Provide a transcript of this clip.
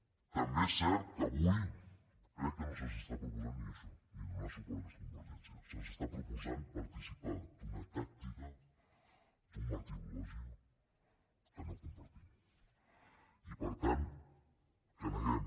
també és cert que avui crec que no se’ns està proposant ni això ni donar suport a aquesta convergència se’ns està proposant participar d’una tàctica d’un martirologi que no compartim i per tant que neguem